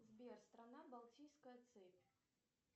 сбер страна балтийская цепь